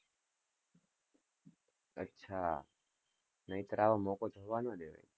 અચ્છા, નહીંતર આવો મોકો જવા નો દેવાય.